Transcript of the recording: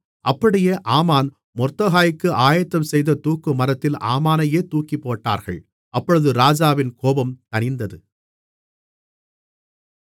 அப்படியே ஆமான் மொர்தெகாய்க்கு ஆயத்தம்செய்த தூக்குமரத்தில் ஆமானையே தூக்கிப்போட்டார்கள் அப்பொழுது ராஜாவின் கோபம் தணிந்தது